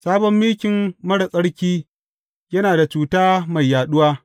Sabon mikin marar tsarki, yana da cuta mai yaɗuwa.